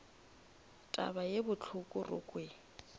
taba ye bohloko roko ye